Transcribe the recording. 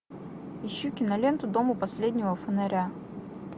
ищу киноленту дом у последнего фонаря